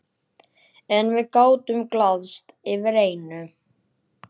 En við gátum glaðst yfir einu.